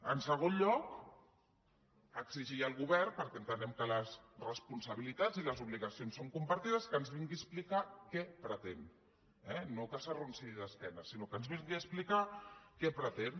en segon lloc exigir al govern perquè entenem que les responsabilitats i les obligacions són compartides que ens vingui a explicar què pretén eh no que s’arronsi d’espatlles sinó que ens vingui a explicar què pretén